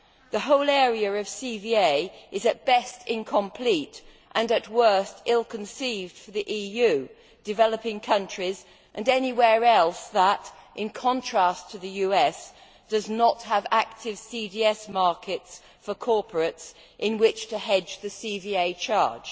The whole area of CVA is at best incomplete and at worst ill conceived for the EU, developing countries and anywhere else that, in contrast to the US, does not have active CDS markets for corporates in which to hedge the CVA charge.